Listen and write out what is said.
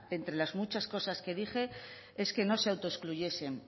entre las muchas cosas que dije es que no se autoexcluyesen